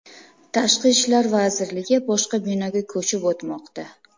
Tashqi ishlar vazirligi boshqa binoga ko‘chib o‘tmoqda.